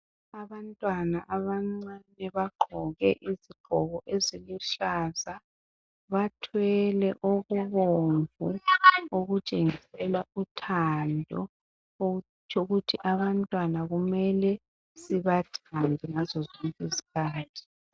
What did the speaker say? Abantwana abancane bagqoke izigqoko eziluhlaza. Bathwele okubomvu okutshengisela uthando. Okutsho ukuthi abantwana kumele sibathande ngazo zonkizkhathi.